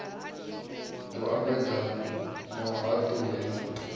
ḓo ambedzana na vhahaṱuli na